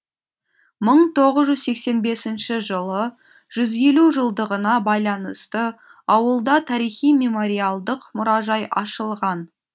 мың тоғыз жүз сексен беіснші жылы жүз елу жылдығына байланысты ауылда тарихи мемориалдық мұражай ашылған